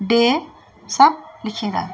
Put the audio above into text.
डे सब लिखी रेंद।